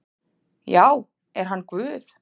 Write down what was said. Já, er hann Guð?